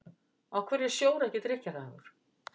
Af hverju er sjór ekki drykkjarhæfur?